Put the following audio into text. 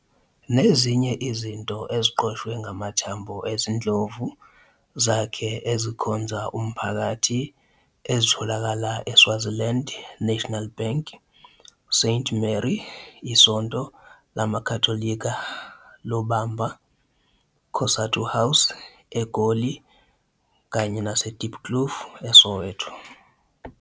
Nezinye izinto eziqoshwe ngamathambo ezindlovu zakhe ezikhonza umphakathi ezitholakala iSwaziland National Bank, St Mary iSonto LamaKatolika Lobamba, COSATU House, eGoli, kanye Dieploof, eSoweto.